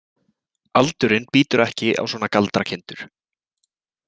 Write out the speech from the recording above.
Aldurinn bítur ekki á svona galdrakindur.